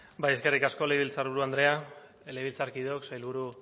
eskerrik asko legebiltzarburu andrea legebiltzarkideok sailburu